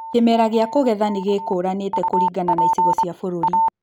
Kĩmera gĩa kũgetha nĩ gĩkũũranĩte kũringana na icigo cia bũrũri